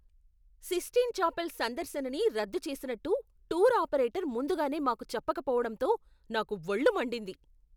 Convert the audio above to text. Cystine Chapel సందర్శనని రద్దు చేసినట్టు టూర్ ఆపరేటర్ ముందుగానే మాకు చెప్పకపోవడంతో నాకు వళ్ళు మండింది.